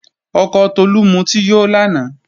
Ọkọ Tolú mutí yó lánàá